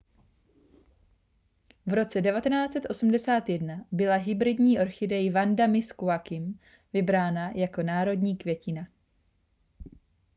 v roce 1981 byla hybridní orchidej vanda miss joaquim vybrána jako národní květina